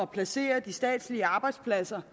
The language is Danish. placere de statslige arbejdspladser